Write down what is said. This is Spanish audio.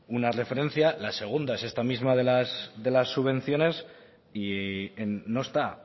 una referencia la segunda es esta misma de las subvenciones y no está